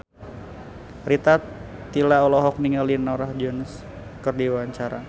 Rita Tila olohok ningali Norah Jones keur diwawancara